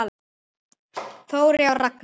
Þórey og Ragna.